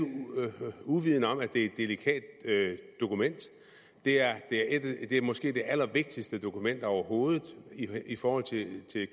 uvidende om at det er et delikat dokument det er måske det allervigtigste dokument overhovedet i forhold til